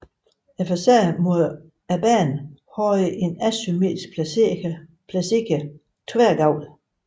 Facaden mod banen havde en asymmetrisk placeret tværgavl